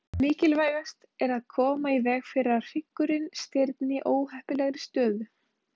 Mikilvægast er að koma í veg fyrir að hryggurinn stirðni í óheppilegri stöðu.